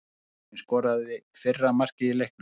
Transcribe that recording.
Frakkinn skoraði fyrra markið í leiknum.